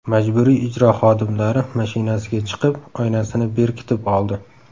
Majburiy ijro xodimlari mashinasiga chiqib, oynasini berkitib oldi.